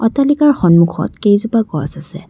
অট্টালিকাৰ সন্মুখত কেইজোপা গছ আছে।